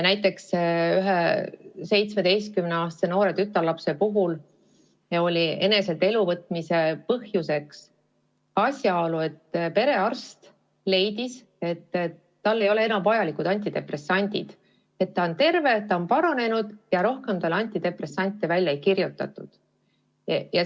Näiteks ühe noore, 17-aastase tütarlapse puhul oli eneselt elu võtmise põhjuseks asjaolu, et perearst leidis, et tal ei ole enam vaja antidepressante võtta, ta on terve, ta on paranenud, ja rohkem talle antidepressante välja ei kirjutatud.